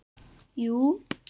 Jú